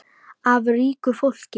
Af ríku fólki?